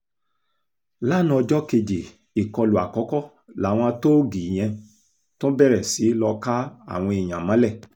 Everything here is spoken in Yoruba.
lanaa ọjọ́ kejì ìkọlù àkọ́kọ́ làwọn tóógi yẹn tún bẹ̀rẹ̀ sí í lọ́ọ́ ká àwọn èèyàn mọ́lẹ̀